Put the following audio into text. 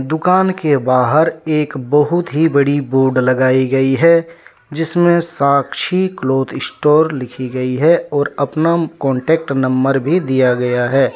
दुकान के बाहर एक बहुत ही बड़ी बोर्ड लगाई गई है जिसमें साक्षी क्लोथ स्टोर लिखी गई है और अपना कांटेक्ट नंबर भी दिया गया है।